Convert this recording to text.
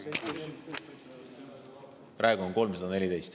Praegu on 314.